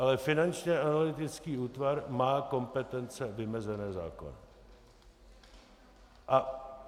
Ale Finanční analytický útvar má kompetence vymezené zákonem.